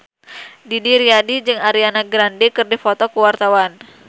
Didi Riyadi jeung Ariana Grande keur dipoto ku wartawan